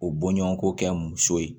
O boɲɔgɔnko kɛ muso ye